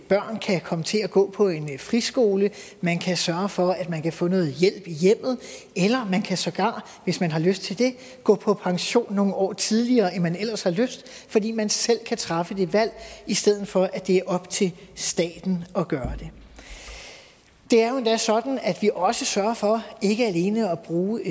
børn kan komme til at gå på en friskole man kan sørge for at man kan få noget hjælp i hjemmet eller man kan sågar hvis man har lyst til det gå på pension nogle år tidligere end man ellers har lyst til fordi man selv kan træffe det valg i stedet for at det er op til staten at gøre det det er jo endda sådan at vi også sørger for ikke alene at bruge